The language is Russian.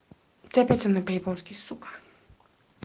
ты опять со мной по-японски сука